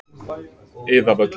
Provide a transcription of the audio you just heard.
Iðavöllum